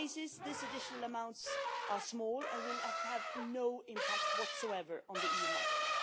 some cases these additional amounts are small and will have no impact whatsoever on the EU market.